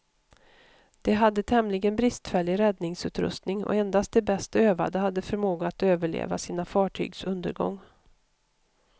De hade tämligen bristfällig räddningsutrustning, och endast de bäst övade hade förmåga att överleva sina fartygs undergång.